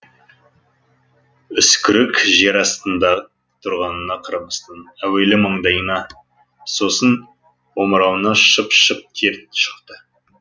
үскірік жер астында тұрғанына қарамастан әуелі маңдайына сосын омырауына шып шып тер шықты